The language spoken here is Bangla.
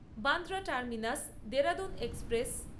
Bandra terminus Dehradun express